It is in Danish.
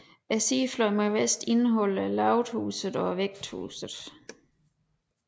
Sidefløjen mod vest indeholder lavethuset og Vægthuset